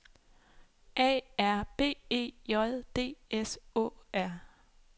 A R B E J D S Å R